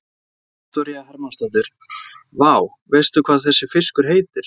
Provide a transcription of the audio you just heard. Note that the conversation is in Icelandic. Viktoría Hermannsdóttir: Vá, veistu hvað þessi fiskur heitir?